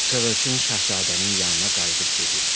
Sığırçın Şahzadənin yanına qayıdıb dedi: